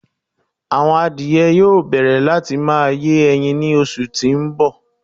Awọn àdìẹ̀ yóò bẹ̀rẹ̀ láti má yín èyín ní òṣù tí n bọ̀.